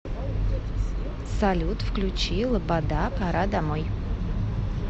салют включи лобода пора домой